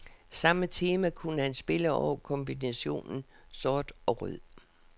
Samme tema kunne han spille over kombinationen sort og rød.